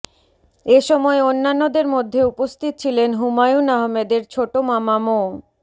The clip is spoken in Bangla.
এ সময় অন্যান্যদের মধ্যে উপস্থিত ছিলেন হুমায়ুন আহমেদের ছোট মামা মো